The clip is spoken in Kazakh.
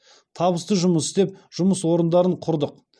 табысты жұмыс істеп жұмыс орындарын құрдық